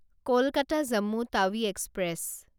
Kolkata Jammu Tawi express